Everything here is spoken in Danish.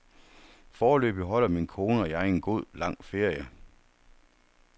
Foreløbig holder min kone og jeg en god, lang ferie.